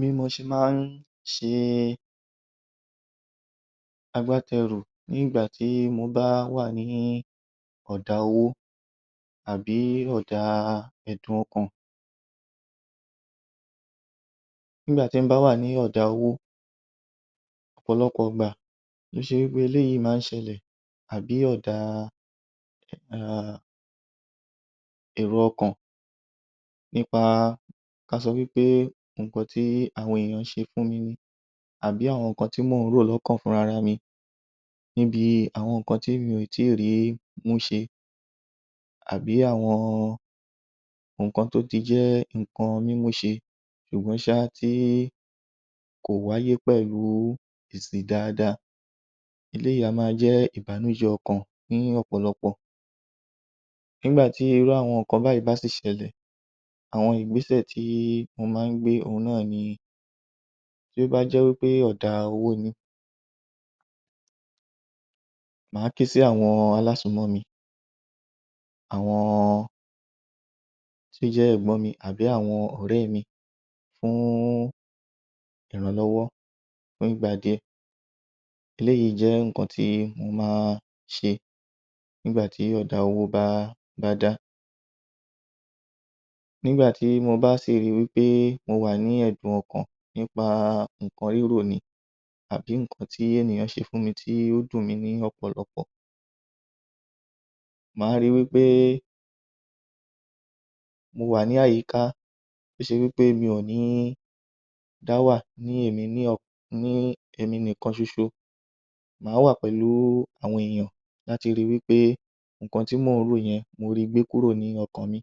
Bí mo ṣe máa ń ṣe agbátẹrù nígbà tí mo bá wà ní ọ̀dá owó àbí ọ̀dá ẹ̀dùn ọkàn. Nigba ti n bá wà ní ọ̀dá owó, ọ̀pọ̀lọpọ̀ ìgbà tó ṣe wí pé eléyìí ma ń ṣẹlẹ̀, àbí ọ̀dá èrò ọkàn nípa ká sọ wí pé nǹkan tí àwọn èèyàn ṣe fún mi ni, àbí àwọn nǹkan tí mò ń rò lọ́kàn fún rara mi, níbi àwọn nǹkan tí mi ò tí rí mú ṣe, àbí àwọn nǹkan tó ti jẹ́ nǹkan mí mú ṣe ṣùgbọ́n sa ti kò wáyé pẹ̀lú èsì dáadáa. Eléyìí á ma jẹ́ ìbànújẹ́ ọkàn ní ọ̀pọ̀lọpọ̀. Nígbà tí irú àwọn nǹkan báyìí bá sì ṣẹlẹ̀, àwọn ìgbésẹ̀ tí wọ́n máa ń gbé òhun náà ni: tí ó bá jẹ́ wí pé ọ̀dá owó ni, màá ké sí àwọn alásùúnmọ́ mi, àwọn tó jẹ́ Ẹ̀gbọ́n mi tàbí àwọn ọ̀rẹ́ mi fún ìrànlọ́wọ́ fún ìgbà díẹ̀. Eléyìí jẹ́ nǹkan tí ó má ṣe nígbà tí ọ̀dá owó bá dá. Nígbà tí mo bá sì rí wí pé mo wà ní ẹ̀dùn ọkàn nípa nǹkan rírò ni, tàbí nǹkan tí ènìyàn ṣe fún mi ni tó dùn mí ní ọ̀pọ̀lọpọ̀, màá rí wí pé mo wà ní àyíká mo ṣe bí pé mí ò ní dá wà ní èmi nìkan ṣoṣo màá wà pẹ̀lú àwọn èèyàn láti rí wí pé nǹkan tí mò ń rò yẹn mo ri gbé kúrò ní ọkàn mi.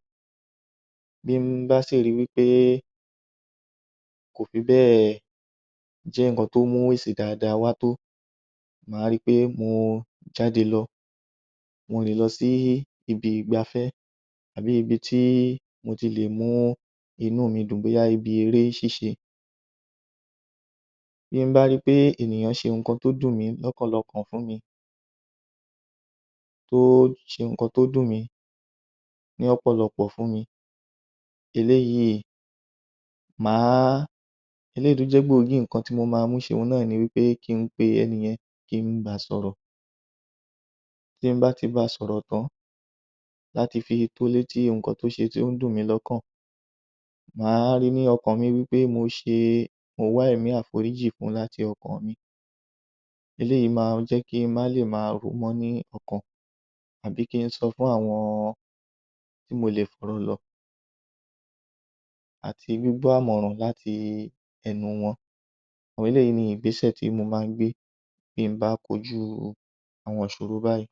Bí m bá si ri wí pé kò fi bẹ́ẹ̀ jẹ́ nǹkan tó mú èsì dáadáa wá tó, màá ri pé mo jáde lọ. Mo lè lọ sí ibi ìgbáfẹ́, tàbí ibi tí mo ti lè mú inú mi dùn bóyá ibi eré ṣíṣe. Bí m bá ri pé ènìyàn ṣe nǹkan tó dùn mí lọ́pọ̀lọpọ̀ fún mi, tó ṣe nǹkan tó dùn mí ní ọ̀pọ̀lọpọ̀ fún mi, eléyìí tó jẹ́ gbòógì nǹkan tí mo ma mú ṣe òhun náà ni wí pé ki n pe ẹni yẹn, kí n ba sọ̀rọ̀. Ti m bá ti ba sọ̀rọ̀ tán, láti fi to létí nǹkan tó ń dùn mí lọ́kàn, màá rí ní ọkàn mi wí pé mo wá ẹ̀mí àforíjì fun láti ọkàn mi. Eléyìí ma jẹ́ kí má lè ma rò ó mọ́ ní ọkàn, àbí ki n sọ fún àwọn tí mo lè fọ̀rọ̀ lọ̀ àti gbígbọ́ àmọ̀ràn láti ẹnu wọn. Àwọn eléyìí ni ìgbésẹ̀ tí mo máa ń gbé bí m bá kojú àwọn ìṣòro báyìí.